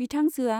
बिथांजोआ